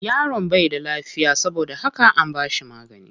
Yaron bai da lafiya saboda haka an bashi magani.